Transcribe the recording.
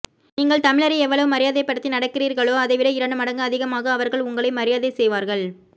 நீங்கள் தமிழரை எவ்வளவு மரியாதைப்படுத்தி நடக்கிறீர்களோ அதைவிட இரண்டு மடங்கு அதிகமாக அவர்கள் உங்களை மரியாதை செய்வார்கள்